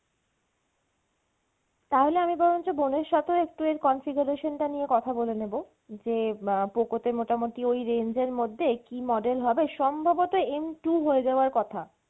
তাহলে আমি বরঞ্চ বোনের সাথেও একটু এর configuration টা নিয়ে কথা বলে নেবো যে আহ Poco তে মোটামটি ওই range এর মধ্যে কী model হবে সম্ভবত M two হয়ে যাওয়ার কথা